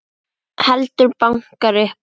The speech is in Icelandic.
Heldur bankar upp á.